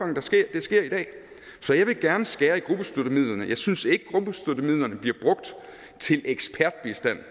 sker i dag så jeg vil gerne skære i gruppestøttemidlerne jeg synes ikke at til ekspertbistand